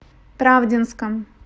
правдинском